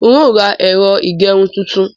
N ó ra ẹ̀rọ ìgerun tuntun.